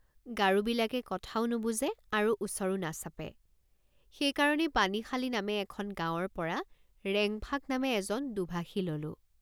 গাৰোবিলাকে কথাও নুবুজে আৰু ওচৰো নাচাপে সেইকাৰণেই পানীশালী নামে এখন গাঁৱৰপৰা ৰেং ফাং নামে এজন দোভাষী ললোঁ।